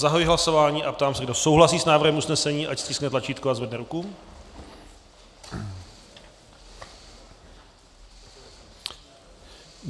Zahajuji hlasování a ptám se, kdo souhlasí s návrhem usnesení, ať stiskne tlačítko a zvedne ruku.